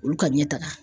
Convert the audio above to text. Olu ka ɲɛtaga